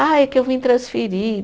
Ah, é que eu vim transferir.